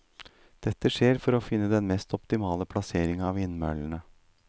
Dette skjer for finne den mest optimale plassering av vindmøllene.